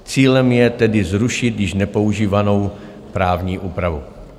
Cílem je tedy zrušit již nepoužívanou právní úpravu.